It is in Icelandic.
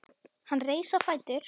Hann reis á fætur.